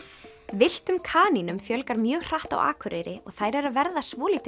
villtum kanínum fjölgar mjög hratt á Akureyri og þær eru að verða svolítið